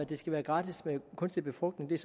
det skal være gratis med kunstig befrugtning